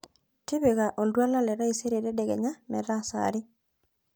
tipika oltuala le taisere tadekenya metaa saa are